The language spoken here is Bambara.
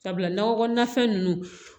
Sabula nakɔ kɔnɔnafɛn ninnu